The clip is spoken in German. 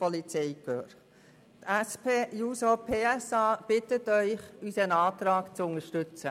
Die SP-JUSO-PSA-Fraktion bittet Sie, den Antrag zu unterstützen.